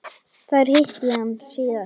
Þar hitti ég hann síðast.